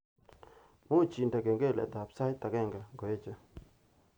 Muuch indene kengeletab sait agenge ngoeche